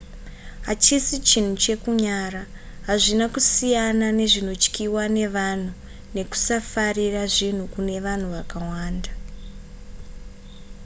hachisi chinhu chekunyara hazvina kusiyana nezvinotyiwa nevanhu nekusafarira zvinhu kune vanhu vakawanda